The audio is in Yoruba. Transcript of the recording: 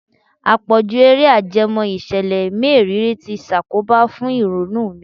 Àpọ̀jù Eré ajẹmọ́ ìṣẹ̀lẹ̀ mériìrí ti ṣàkóbà fún ìrònú mi.